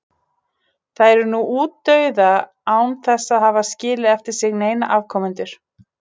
Þær eru nú útdauða án þess að hafa skilið eftir sig neina afkomendur.